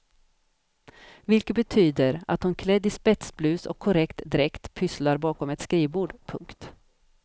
Vilket betyder att hon klädd i spetsblus och korrekt dräkt pysslar bakom ett skrivbord. punkt